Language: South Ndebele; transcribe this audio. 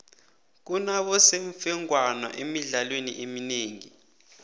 kunabosemfengwana emidlalweni eminengi